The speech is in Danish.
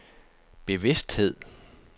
bevidsthed